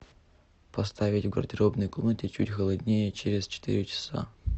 поставить в гардеробной комнате чуть холоднее через четыре часа